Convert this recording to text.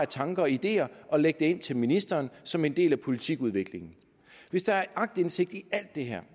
tanker og ideer og lægge det ind til ministeren som en del af politikudviklingen hvis der er aktindsigt i alt det her